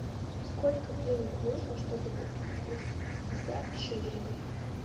сколько денег нужно чтобы купить двести пятьдесят шиллингов